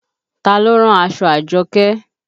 Taa ló rán aṣọ Àjọkẹ́